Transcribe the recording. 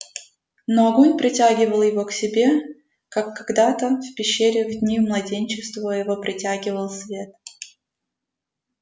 но огонь притягивал его к себе как когда то в пещере в дни младенчества его притягивал свет